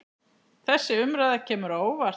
Þessi umræða kemur á óvart.